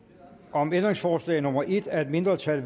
om ændringsforslag nummer en af et mindretal